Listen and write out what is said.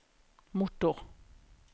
motor